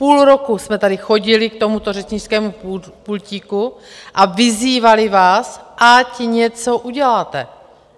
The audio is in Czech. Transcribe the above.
Půl roku jsme tady chodili k tomuto řečnickému pultíku a vyzývali vás, ať něco uděláte.